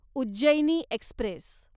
Ujjaini Express